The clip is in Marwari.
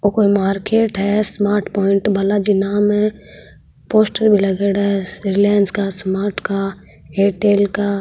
ओ कोई मार्केट है स्मार्ट पाइंट बाला जी नाम है पोस्टर भी लागेड़ा है रीलायांस का स्मार्ट का एयरटेल का।